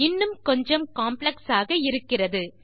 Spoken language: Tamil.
இன்னும் கொஞ்சம் காம்ப்ளெக்ஸ் ஆக இருக்கிறது